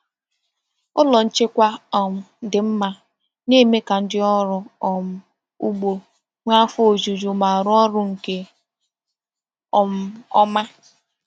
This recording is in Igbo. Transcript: Ụlọ nchekwa um dị mma na-eme ka ndị ọrụ um ugbo nwee afọ ojuju ma rụọ ọrụ nke um ọma.